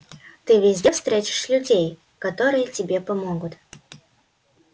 ты везде встретишь людей которые тебе помогут